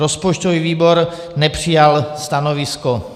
Rozpočtový výbor nepřijal stanovisko.